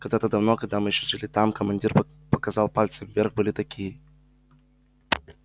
когда-то давно когда мы ещё жили там командир показал пальцем вверх были такие